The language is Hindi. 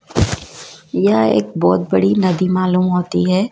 यह एक बहुत बड़ी नदी मालूम होती है।